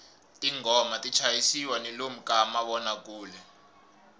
tinghoma ti chayisiwa ni lomu ka mavonakule